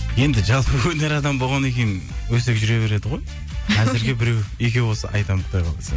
енді жалпы өнер адамы болғаннан кейін өсек жүре береді ғой әзірге біреу екеу болса айтамын құдай қаласа